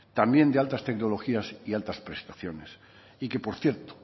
también de altas tecnologías y altas prestaciones y que por ciento